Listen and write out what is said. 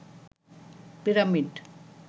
pyramid